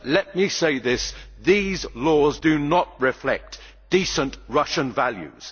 But let me say that these laws do not reflect decent Russian values.